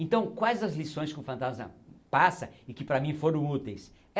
Então, quais as lições que o fantasma passa e que para mim foram úteis?